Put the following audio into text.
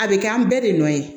A bɛ kɛ an bɛɛ de nɔ ye